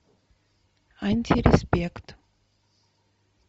антиреспект